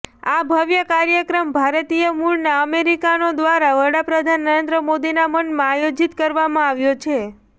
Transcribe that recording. આ ભવ્ય કાર્યક્રમ ભારતીય મૂળના અમેરિકનો દ્વારા વડાપ્રધાન નરેન્દ્ર મોદીના માનમાં આયોજીત કરવામાં આવ્યો છે